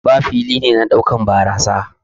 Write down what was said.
bar fili ne na daukan barasa.